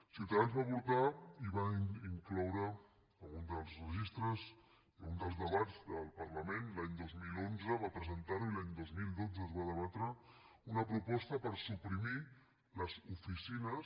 ciutadans va portar i va incloure en un dels registres i en un dels debats del parlament l’any dos mil onze va presentar ho i l’any dos mil dotze es va debatre una proposta per suprimir les oficines